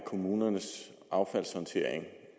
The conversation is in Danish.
kommunernes affaldshåndtering